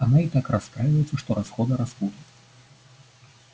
она и так расстраивается что расходы растут